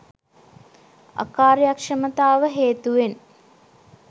අකාර්යක්ෂමතාව හේතුවෙන්